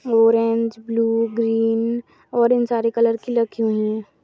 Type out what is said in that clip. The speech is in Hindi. ऑरेंज ब्लू ग्रीन और इन सारे कलर की लगी हुई है।